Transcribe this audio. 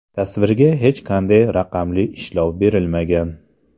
Tasvirga hech qanday raqamli ishlov berilmagan.